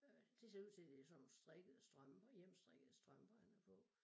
Øh det ser ud til det sådan nogle strikkede strømper hjemmestrikkede strømper han har på